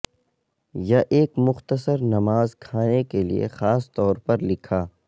یا ایک مختصر نماز کھانے کے لئے خاص طور پر لکھا